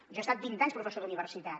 jo he estat vint anys professor d’universitat